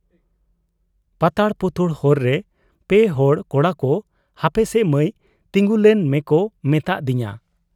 ᱯᱟᱛᱟᱲ ᱯᱩᱛᱩᱲ ᱦᱚᱨ ᱨᱮ ᱯᱮ ᱦᱚᱲ ᱠᱚᱲᱟᱠᱚ ᱦᱟᱯᱮᱥᱮ ᱢᱟᱹᱭ ᱛᱤᱸᱜᱤᱞᱮᱱ ᱢᱮᱠᱚ ᱢᱮᱛᱟᱫ ᱫᱤᱧᱟ ᱾